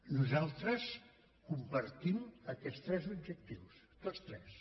nosaltres compartim aquests tres objectius tots tres